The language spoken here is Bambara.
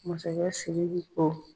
Masakɛ Sdiki ko